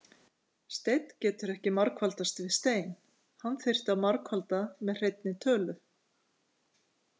Steinn getur ekki margfaldast við stein, hann þyrfti að margfalda með hreinni tölu.